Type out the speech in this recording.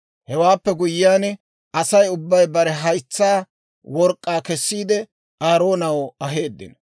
Hewaappe guyyiyaan Asay ubbay bare haytsaa work'k'aa kessiide, Aaroonaw aheeddino.